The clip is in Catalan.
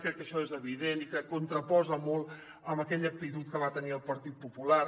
crec que això és evident i que contraposa molt amb aquella actitud que va tenir el partit popular